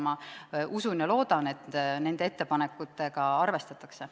Ma usun ja loodan, et nende ettepanekutega arvestatakse.